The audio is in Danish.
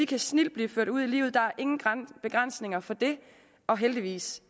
kan snildt blive ført ud i livet der er ingen begrænsninger for det og heldigvis